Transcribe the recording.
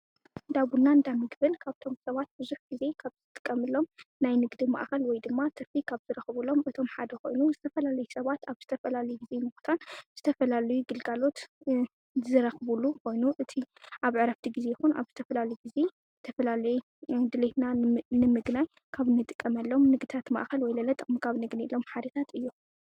ዳቡናን እንዳ ምግብል ካብቶም ሰባት ብዙሕ ጊዜ ኻብ ዝጥቀምሎም ናይ ንግዲ ማኣኸል ወይ ድማ ትርፊ ኻብ ዝረከቡሎም እቶም ሓደ ኾይኑ ዝተፈላለይ ሰባት ኣብ ዝተፈላለየ ጊዜ ናዉታትን ዝተፈላልዩ ግልጋሎታት ዝረኽቡሉ ኾይኑ እቲ ኣብ ዕረፍቲ ጊዜ ይኹን ኣብ ዝተፈላለየ ጊዜ ተፈላለየ ድልየትና ንምግናይ ካብ ንጥቀመሎም ንግድታት ማእኸል ወይለለ ንጥቀም ካብ ነግንየሎም ሓደታት እዮም፡፡